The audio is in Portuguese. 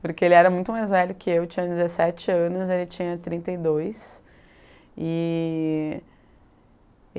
Porque ele era muito mais velho que eu, tinha dezessete anos, ele tinha trinta e dois. E